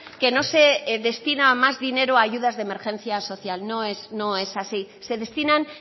que no se destina más dinero a ayudas de emergencia social no es así se destinan